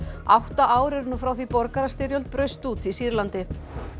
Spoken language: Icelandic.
átta ár eru nú frá því borgarastyrjöld braust út í Sýrlandi